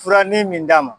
Fura ni min d'a ma